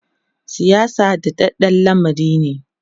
siyasa daɗaɗɗan lamari ne